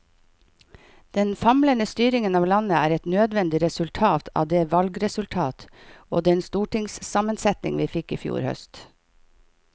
Den famlende styringen av landet er et nødvendig resultat av det valgresultat og den stortingssammensetning vi fikk i fjor høst.